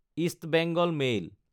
east Bengal mail